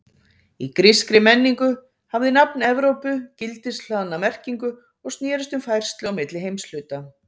Í grískri menningu hafði nafn Evrópu gildishlaðna merkingu og snerist um færslu á milli heimshluta.